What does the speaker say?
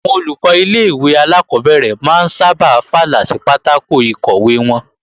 Àwọn Olùkọ́ ilé-ìwé alákọ́bẹ̀rẹ̀ máa ń sábà fàlà sí pátákò ìkọ̀wé wọn